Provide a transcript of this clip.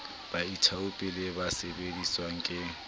baithaopi le ba sebeletswang ke